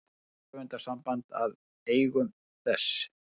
Rithöfundasamband að eigum þess.